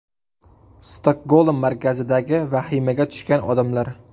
Stokgolm markazidagi vahimaga tushgan odamlar.